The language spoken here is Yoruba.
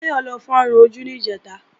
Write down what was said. Táyọ̀ lọ fárun ojú níjẹ̀ta